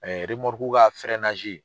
ka